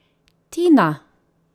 Tina?